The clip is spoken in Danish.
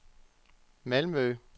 Malmø